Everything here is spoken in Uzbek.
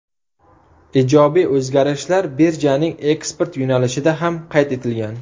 Ijobiy o‘zgarishlar birjaning eksport yo‘nalishida ham qayd etilgan.